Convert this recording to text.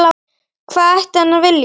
Hvað ætti hann að vilja?